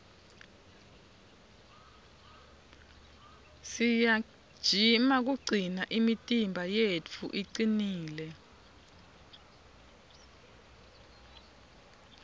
siyajima kugcina imitimba yetfu icinile